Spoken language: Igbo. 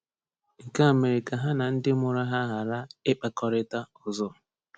Nke a mere ka ha na ndị mụrụ ha ghara ịkpakọrịta ọzọ.